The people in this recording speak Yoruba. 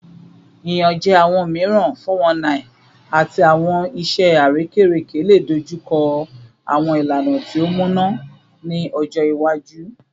Iyanjẹ awọn miiran (419) ati awọn iṣẹ arekereke le dojuko awọn ilana ti o muna ni ọjọ iwaju